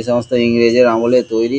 এসমস্ত ইংরেজের আমলে তৈরী ।